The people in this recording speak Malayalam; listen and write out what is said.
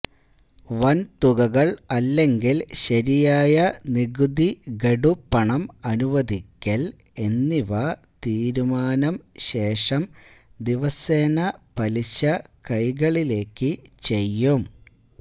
വൻതുകകൾ അല്ലെങ്കിൽ ശരിയായ നികുതി ഗഡു പണം അനുവദിക്കൽ എന്നിവ തീരുമാനം ശേഷം ദിവസേന പലിശ കൈകളിലേക്ക് ചെയ്യും